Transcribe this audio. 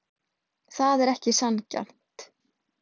Það er ekki sanngjarnt.